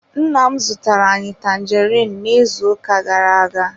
Nne m zụtara anyị tanjeriin n'izuụka gara-aga.